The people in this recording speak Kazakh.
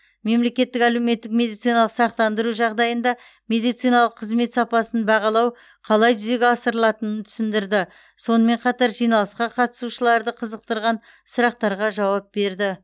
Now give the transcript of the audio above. мемлекеттік әлеуметтік медициналық сақтандыру жағдайында медициналық қызмет сапасын бағалау қалай жүзеге асырылатынын түсіндірді сонымен қатар жиналысқа қатысушыларды қызықтырған сұрақтарға жауап берді